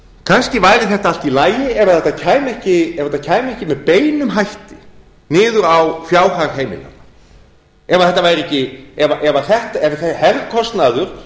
kannski væri þetta allt í lagi ef þetta kæmi ekki með beinum hætti niður á fjárhag heimilanna ef herkostnaður